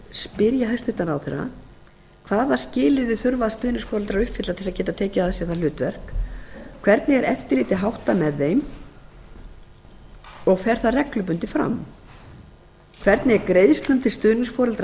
spyr ég hæstvirtan ráðherra fyrstu hvaða skilyrði þurfa þeir sem gerast stuðningsforeldrar að uppfylla annað hvernig er eftirliti með stuðningsforeldrum háttað fer það fram reglulega þriðja hvernig er greiðslum til stuðningsforeldra